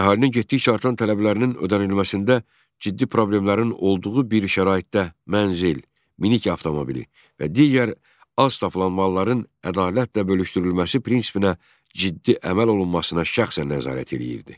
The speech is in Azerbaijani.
Əhalinin getdikcə artan tələblərinin ödənilməsində ciddi problemlərin olduğu bir şəraitdə mənzil, minik avtomobili və digər az tapılan malların ədalətlə bölüşdürülməsi prinsipinə ciddi əməl olunmasına şəxsən nəzarət eləyirdi.